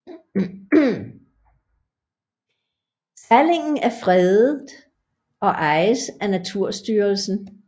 Skallingen er fredet og ejes af Naturstyrelsen